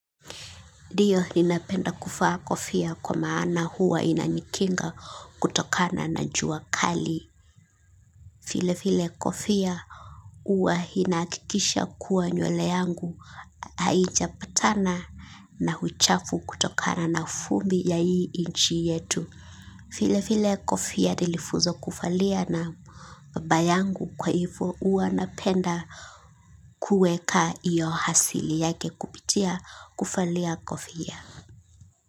Ndio ninapenda kuvaa kofia kwa maana huwa inanikinga kutokana na jua kali. Vile vile kofia huwa inahakikisha kuwa nywele yangu haijapatana na uchafu kutokana na vumbii ya hii nchi yetu. Vile fvle kofia nilifunzwa kuvalia na baba yangu kwa hivo huwa napenda kuweka iyo asili yake kupitia kuvalia kofia.